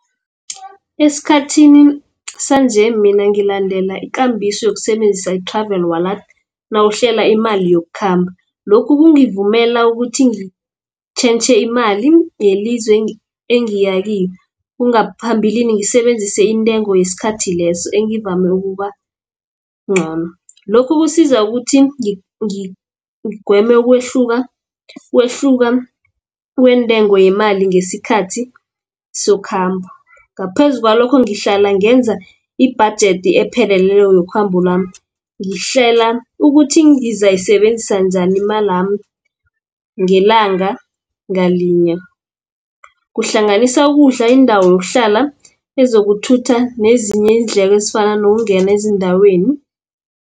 Esikhathini sanje mina ngilandela ikambiso yokusebenzisa i-Travel Wallet, nawuhlela imali yokukhamba. Lokhu kungivumela ukuthi ngitjhentjhe imali yelizwe engiya kilo, ngaphambilini ngisebenzise intengo yesikhathi leso engivame ukuba ncono. Lokhu kusiza ukuthi ngigweme ukwehluka kweentengo yemali ngesikhathi sokhambo. Ngaphezu kwalokho ngihlala ngenza ibhajethi epheleleko yokhambo lwami. Ngihlela ukuthi ngizayisebenzisa njani imalami, ngelanga ngalinye, kuhlanganisa ukudla, indawo yokuhlala, ezokuthutha nezinye iindlela ezifana nokungena ezindaweni.